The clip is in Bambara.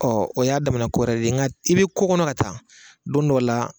Ɔ o y'a damana kowɛrɛ de ye nga i be kokɔnɔ ka taa don dɔ la